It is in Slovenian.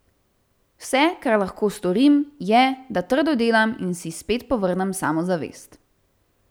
Vse, kar lahko storim, je, da trdo delam in si spet povrnem samozavest.